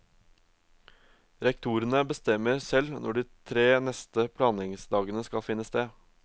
Rektorene bestemmer selv når de tre neste planleggingsdagene skal finne sted.